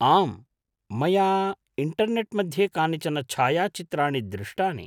आम्, मया इण्टर्नेट् मध्ये कानिचन छायाचित्राणि दृष्टानि।